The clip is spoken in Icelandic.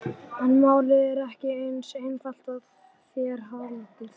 En málið er ekki eins einfalt, og þér haldið.